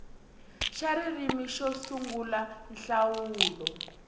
xa ririmi ro sungula nhlawulo